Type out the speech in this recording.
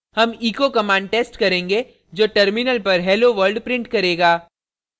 हम echo echo command test करेंगे जो terminal पर hello world print करेगा